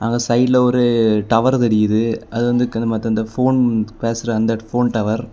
சைடுல ஒரு டவர் தெரியுது. அது வந்து அந்த போன் பேசுற அந்த போன் டவர் .